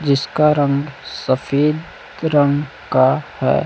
जिसका रंग सफेद रंग का है।